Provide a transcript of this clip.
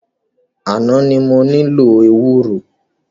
Àná ni mo nílò ewúro.